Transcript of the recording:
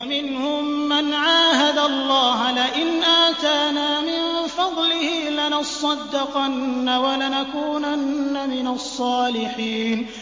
۞ وَمِنْهُم مَّنْ عَاهَدَ اللَّهَ لَئِنْ آتَانَا مِن فَضْلِهِ لَنَصَّدَّقَنَّ وَلَنَكُونَنَّ مِنَ الصَّالِحِينَ